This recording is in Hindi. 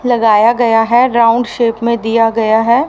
लगाया गया है राउंड शेप में दिया गया है।